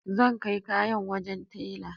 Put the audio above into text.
Zan kai kayan wajen telan